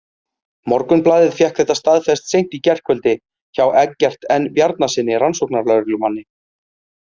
Morgunblaðið fékk þetta staðfest seint í gærkvöldi hjá Eggert N Bjarnasyni rannsóknarlögreglumanni.